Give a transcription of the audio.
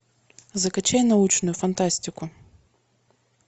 закачай научную фантастику